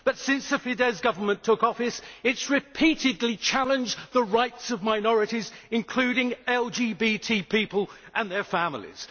Since the Fidesz Government took office it has repeatedly challenged the rights of minorities, including LGBT people and their families.